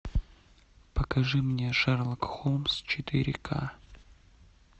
покажи мне шерлок холмс четыре ка